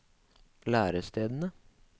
lærestedene